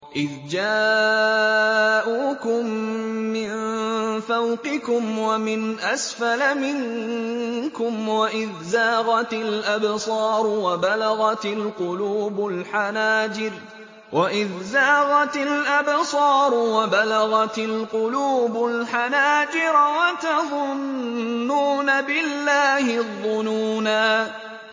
إِذْ جَاءُوكُم مِّن فَوْقِكُمْ وَمِنْ أَسْفَلَ مِنكُمْ وَإِذْ زَاغَتِ الْأَبْصَارُ وَبَلَغَتِ الْقُلُوبُ الْحَنَاجِرَ وَتَظُنُّونَ بِاللَّهِ الظُّنُونَا